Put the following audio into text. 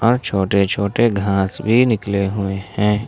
और छोटे छोटे घास भी निकले हुए हैं।